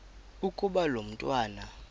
ukuba lo mntwana